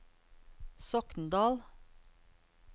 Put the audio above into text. Sokndal